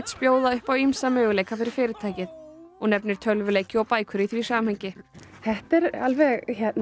bjóða upp á ýmsa möguleika fyrir fyrirtækið og nefnir tölvuleiki og bækur í því samhengi þetta er alveg